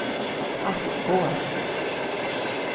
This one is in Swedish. Hackås